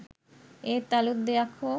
ඒත් අලුත් දෙයක් හෝ